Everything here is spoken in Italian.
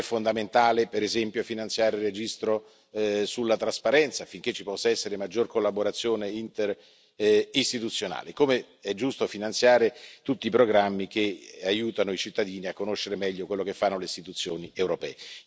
È fondamentale, per esempio, finanziare il registro sulla trasparenza, affinché ci possa essere maggior collaborazione interistituzionale, come è giusto finanziare tutti i programmi che aiutano i cittadini a conoscere meglio quello che fanno le istituzioni europee.